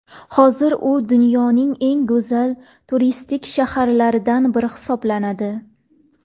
Hozir u dunyoning eng go‘zal turistik shaharlaridan biri hisoblanadi.